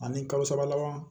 Ani kalo saba laban